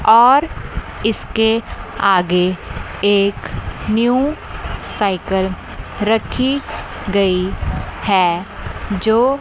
और इसके आगे एक न्यू साइकल रखी गई है जो--